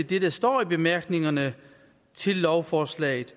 det der står i bemærkningerne til lovforslaget